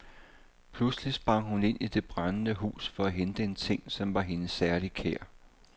Pludselig sprang hun ind i det brændende hus for at hente en ting, som var hende særlig kær.